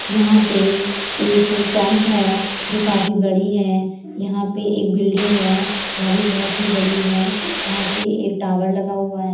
यहाँ पे एक कैम्प है जो काफी बड़ी है। यहाँ पे एक बिल्डिंग है। वह भी बहोत ही बड़ी है। यहाँ पे एक टावर लगा हुआ है।